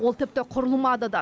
ол тіпті құрылмады да